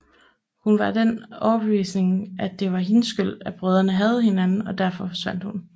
Hun var af den overbevisning at det var hendes skyld at brødrene hadede hinanden og derfor forsvandt hun